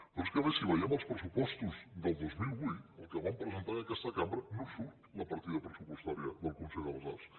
però és que a més si veiem els pressupostos del dos mil vuit els que van presentar en aquesta cambra no surt la partida pressupostària del consell de les arts